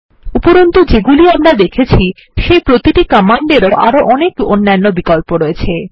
উপরন্তু যেগুলি আমরা দেখেছি সেই প্রতিটি কমান্ডেরও আরো অনেক অন্যান্য বিকল্প আছে